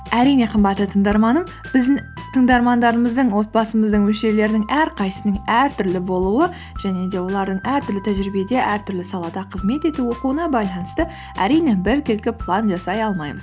әрине қымбатты тыңдарманым біздің таңдарманымыздың отбасымыздың мүшелерінің әрқайсысының әртүрлі болуы және де олардың әртүрлі тәжірибеде әртүрлі салада қызмет етуі оқуына байланысты әрине біркелкі план жасай алмаймыз